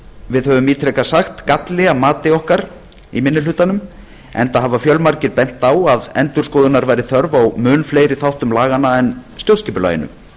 við höfum ítrekað sagt galli að mati okkar í minni hlutanum enda hafa fjölmargir bent á að endurskoðunar væri þörf á mun fleiri þáttum laganna en stjórnskipulaginu